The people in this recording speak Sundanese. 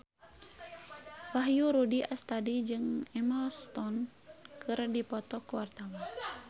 Wahyu Rudi Astadi jeung Emma Stone keur dipoto ku wartawan